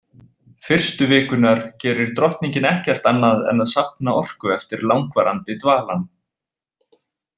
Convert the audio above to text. Fyrstu vikurnar gerir drottningin ekkert annað en að safna orku eftir langvarandi dvalann.